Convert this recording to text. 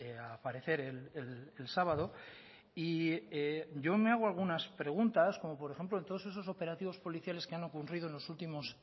a aparecer el sábado y yo me hago algunas preguntas como por ejemplo en todos esos operativos policiales que han ocurrido en los últimos